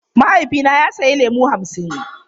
Mahaifina ya sayi lemu hamsin.